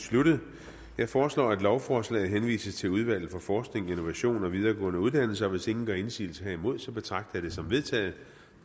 sluttet jeg foreslår at lovforslaget henvises til udvalget for forskning innovation og videregående uddannelser hvis ingen gør indsigelse herimod betragter jeg det som vedtaget